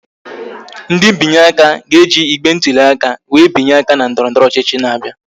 Ndị binye aka ga-eji igbe ntụli aka wee binye aka na ndọrọndọrọ ọchịchị na-abịa